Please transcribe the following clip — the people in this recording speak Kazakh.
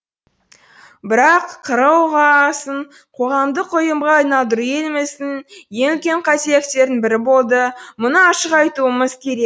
бірақ қр ұға сын қоғамдық ұйымға айналдыру еліміздің ең үлкен қателіктерінің бірі болды мұны ашық айтуымыз керек